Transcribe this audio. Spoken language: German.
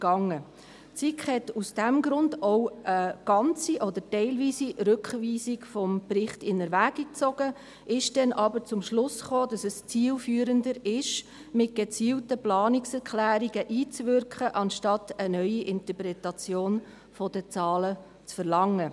Die SiK hat aus diesem Grund auch eine ganze oder eine teilweise Rückweisung des Berichts in Erwägung gezogen, kam dann aber zum Schluss, dass es zielführender sei, mit gezielten Planungserklärungen einzuwirken, als eine neue Interpretation der Zahlen zu verlangen.